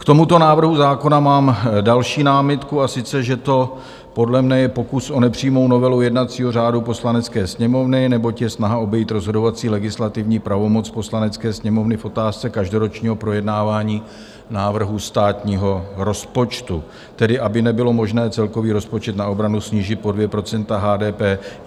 K tomuto návrhu zákona mám další námitku, a sice že to podle mně je pokus o nepřímou novelu jednacího řádu Poslanecké sněmovny, neboť je snaha obejít rozhodovací legislativní pravomoc Poslanecké sněmovny v otázce každoročního projednávání návrhu státního rozpočtu, tedy aby nebylo možné celkový rozpočet na obranu snížit pod 2 % HDP.